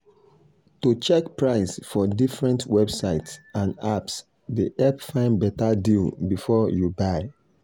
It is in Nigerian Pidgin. to check price for different websites and apps dey help find better deal before you buy.